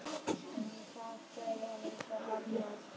En þau segja líka annað.